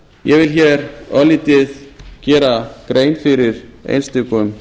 ég vil hér örlítið gera grein fyrir einstökum